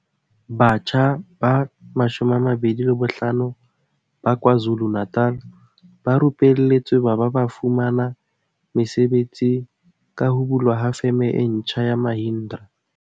Batjha ba 25 ba KwaZu lu-Natal ba rupelletswe ba ba ba fumana mesebetsi ka ho bulwa ha Feme e ntjha ya Mahindra.